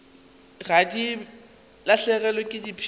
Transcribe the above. ge di lahlegelwa ke phišo